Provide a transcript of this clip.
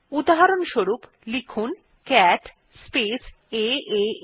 উদাহরস্বরূপ লিখুন cat space এএ